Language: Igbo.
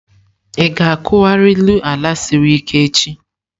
Ị ga-akuwariru ala siri ike echi!